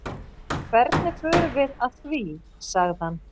Hvernig förum við að því? sagði hann.